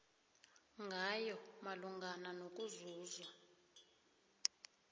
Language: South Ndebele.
ngayo malungana nokuzuzwa